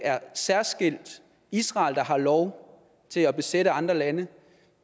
særskilt er israel der har lov til at besætte andre lande